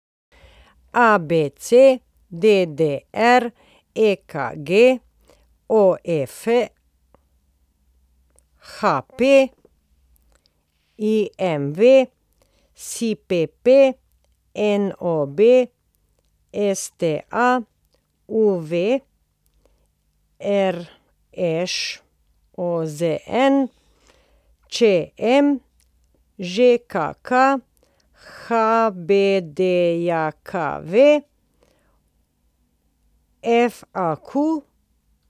ABC, DDR, EKG, OF, HP, IMV, LPP, NOB, STA, UV, RŠ, OZN, ČM, ŽKK, HBDJKV, FAQ.